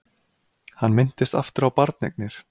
Hann minntist aftur á barneignir.